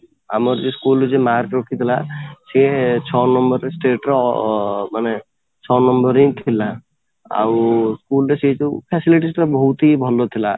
ଆମର ଯୋଉ school ରେ ଯୋଉ mark ରଖିଥିଲା ସିଏ ଛଅ ନମ୍ବର ରେ state ର ଅଂ ମାନେ ଛଅ ନମ୍ବର ରେ ହିଁ ଥିଲା ଆଉ school ରେ ସେ ଯୋଉ facilities ବହୁତ ହି ଭଲ ଥିଲା